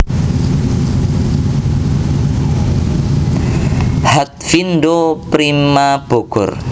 Hatfindo Prima Bogor